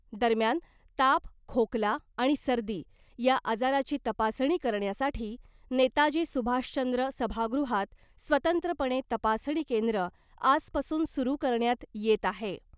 दरम्यान ताप , खोकला आणि सर्दी या आजाराची तपासणी करण्यासाठी नेताजी सुभाषचंद्र सभागृहात स्वतंत्रपणे तपासणी केंद्र आजपासून सुरू करण्यात येत आहे .